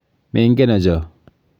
Mengeno cho.